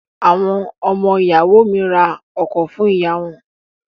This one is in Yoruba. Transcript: Àwọn ọmọ ìyàwó mi ra ọkọ̀ fún ìyá wọn.